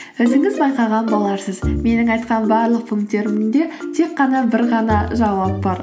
өзіңіз байқаған боларсыз менің айтқан барлық пунктерімде тек қана бір ғана жауап бар